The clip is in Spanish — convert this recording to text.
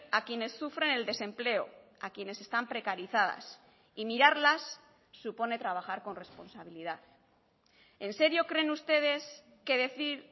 a quienes sufren el desempleo a quienes están precarizadas y mirarlas supone trabajar con responsabilidad en serio creen ustedes que decir